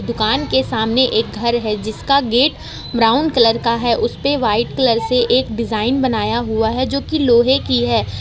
दुकान के सामने एक घर है जिसका गेट ब्राउन कलर का है उस पे वाइट कलर से एक डिजाइन बनाया हुआ है जो की लोहे की है।